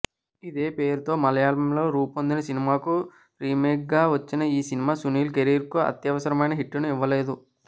ఇదే పేరుతో మలయాళంలో రూపొందిన సినిమాకు రీమేక్గా వచ్చిన ఈ సినిమా సునీల్ కెరీర్కు అత్యవసరమైన హిట్టును ఇవ్వలేదు